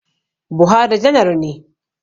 Buhari janar ne